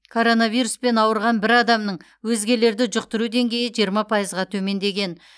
коронавируспен ауырған бір адамның өзгелерді жұқтыру деңгейі жиырма пайызға төмендеген